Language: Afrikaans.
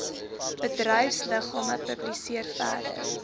bedryfsliggame publiseer verder